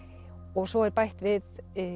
og svo er bætt við